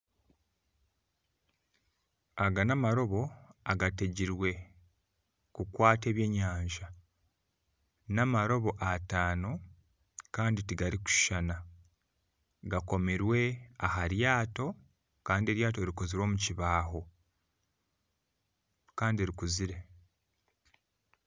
Aga namarobo agateegirwe kukwata ebyenyanza namarobo ataano Kandi tigarikushishana gakomurwe aharyato Kandi eryato rikozirwe omukibaaho Kandi rikuzire